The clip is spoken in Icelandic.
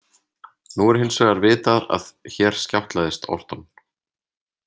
Nú er hins vegar vitað að hér skjátlaðist Orton.